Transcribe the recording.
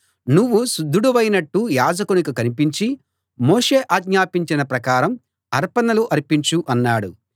నువ్వు శుద్ధుడివైనట్టు యాజకునికి కనిపించి మోషే ఆజ్ఞాపించిన ప్రకారం అర్పణలు అర్పించు అన్నాడు